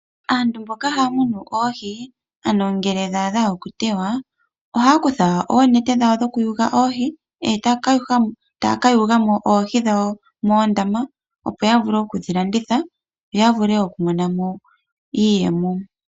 Aantu mboka haya munu oohi ano ngee dha adhwa okutewa ohaya kutha oonete dhawo dhokuyuga oohi etaya kayugamo oohi dhawo moondama opo yavule okudhi landitha yoya vule okumonamo iiyemo.